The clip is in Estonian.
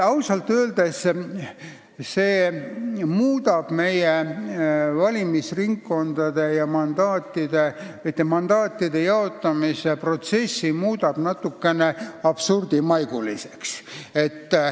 Ausalt öeldes muudab see valimisringkondade moodustamise ja mandaatide jaotamise protsessi natukene absurdimaiguliseks.